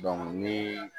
ni